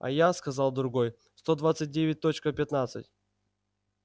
а я сказал другой сто двадцать девять точка пятнадцать